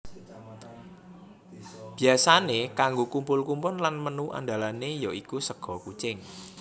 Biyasané kanggo kumpul kumpul lan menu andalané ya iku sega kucing